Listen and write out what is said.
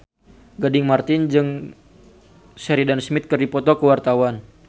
Gading Marten jeung Sheridan Smith keur dipoto ku wartawan